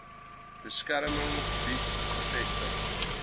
beskermde gebied gevestig